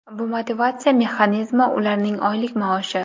Bu motivatsiya mexanizmi ularning oylik maoshi.